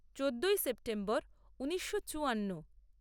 চোদ্দই সেপ্টেম্বর ঊনিশো চুয়ান্ন